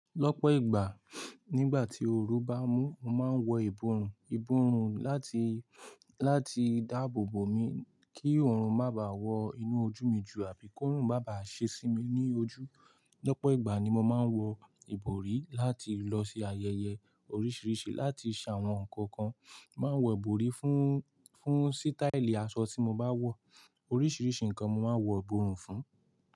Lọ́pọ̀ ìgbà, nígbà tí oru bá mú, mo máa ń wọ ìborùn. Ìborùn láti, láti dáàbò bò mi kí òòrùn má báà wọ inú ojú mi jù àbí kòòrùn má bà ṣe sí mi ní ojú. Lọ́pọ̀ ìgbà ni mo máa ń wọ ìbòrí láti lọ sí ayẹyẹ oríṣiríṣi, láti ṣàwọn nǹkan kan, n máa ń wọ ìbòrí fún, fún sítáílì aṣọ tí mo bá wọ̀. Oríṣiríṣi nǹkan mo máa ń wọ ìborùn fún.